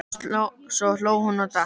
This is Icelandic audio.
Svo hló hún dátt.